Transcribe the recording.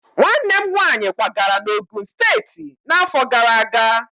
Nwanne m nwaanyị kwagara na Ogun steetị n'afọ gara aga.